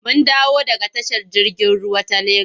Mun dawo daga tashar jirgin ruwa ta Legas.